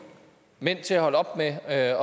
mænd til at holde op med at